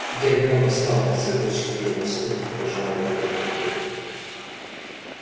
гермиона встала на цыпочки и в испуге прижала ладонь ко рту